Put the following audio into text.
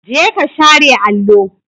Jeka share allo!